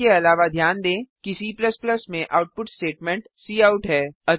इसके अलावा ध्यान दें कि C में आउटपुट स्टेटमेंट काउट है